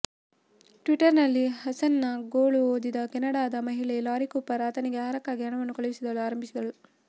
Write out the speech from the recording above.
ಟ್ವಿಟರ್ನಲ್ಲಿ ಹಸನ್ನ ಗೋಳು ಓದಿದ ಕೆನಡಾದ ಮಹಿಳೆ ಲಾರೀ ಕೂಪರ್ ಆತನಿಗೆ ಆಹಾರಕ್ಕಾಗಿ ಹಣವನ್ನು ಕಳುಹಿಸಲು ಆರಂಭಿಸಿದ್ದಳು